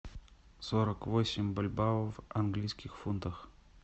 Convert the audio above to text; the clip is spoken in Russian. сорок восемь бальбоа в английских фунтах